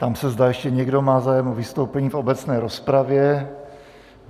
Ptám se, zda ještě někdo má zájem o vystoupení v obecné rozpravě.